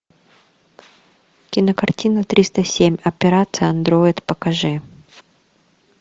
кинокартина триста семь операция андроид покажи